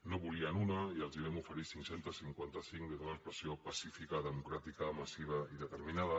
no en volien una i els en vam oferir cinc cents i cinquanta cinc des d’una expressió pacífica democràtica massiva i determinada